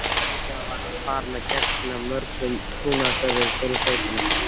Fljótlega var hann farinn að gegna mörgum trúnaðarstörfum fyrir sveitina.